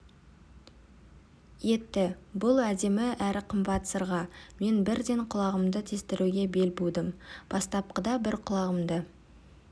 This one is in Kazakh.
етті бұл әдемі әрі қымбат сырға мен бірден құлағымды тестіруге бел будым бастапқыда бір құлағымды